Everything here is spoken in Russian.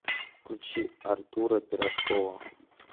включи артура пирожкова